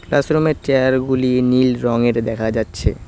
Classroom -এর chair -গুলি নীল রঙের দেখা যাচ্ছে।